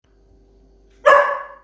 да